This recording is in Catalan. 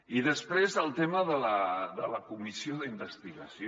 i després el tema de la comissió d’investigació